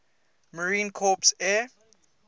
marine corps air